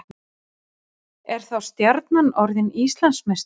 Er þá Stjarnan orðið Íslandsmeistari?